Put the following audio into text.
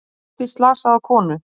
Sótti slasaða konu